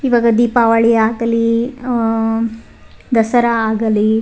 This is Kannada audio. ಈವಾಗ ದೀಪಾವಳಿ ಆಗಲಿ ಆಹ್ಹ್ ದಸರಾ ಆಗಲಿ.